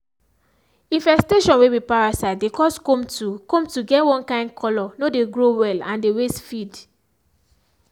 infestation way be parasite dey cause comb to comb to get one kind colour no dey grow well and dey waste feed.